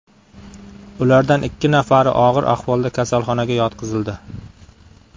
Ulardan ikki nafari og‘ir ahvolda kasalxonaga yotqizildi.